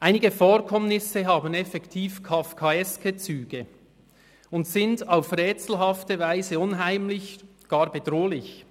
Einige Vorkommnisse haben effektiv kafkaeske Züge und sind auf rätselhafte Weise unheimlich, gar bedrohlich.